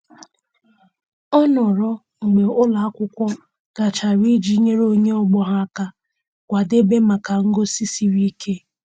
Ọ nọrọ mgbe ụlọ akwụkwọ gachara iji nyere onye ọgbọ ya aka kwadebe maka ngosi siri ike.